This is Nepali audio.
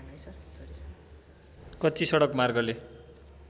कच्ची सडक मार्गले